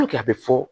a bɛ fɔ